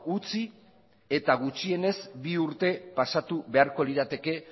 utzi eta gutxienez bi urte pasatu beharko lirateke